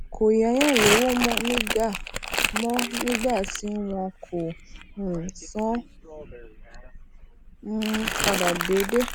kò yáyan lowo mó nígbà mó nígbà tí won ko um san an um pada deede